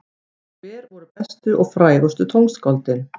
Og hver voru bestu og frægustu tónskáldin?